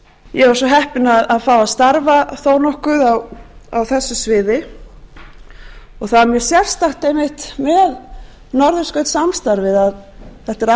ég var svo heppin að fá að starfa þó nokkuð á þessu sviði og það er mjög sérstakt einmitt með norðurskautssamstarfið að þetta er